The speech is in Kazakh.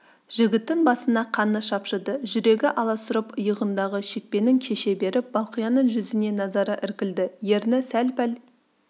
жігіттің басына қаны шапшыды жүрегі аласұрып иығындағы шекпенін шеше беріп балқияның жүзіне назары іркілді ерні сәл-пәл